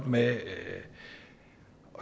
med at